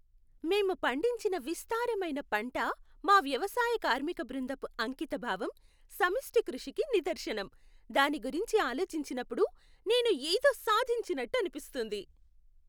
మేము పండించిన విస్తారమైన పంట మా వ్యవసాయ కార్మిక బృందపు అంకితభావం, సమిష్టి కృషికి నిదర్శనం. దాని గురించి ఆలోచించినప్పుడు నేను ఏదో సాధించినట్టు అనిపిస్తుంది.